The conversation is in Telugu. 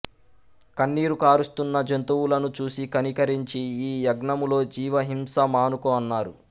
కన్నీరు కారుస్తున్న జంతువులను చూసి కనికరించి ఈ యజ్ఞములో జీవ హింస మానుకో అన్నారు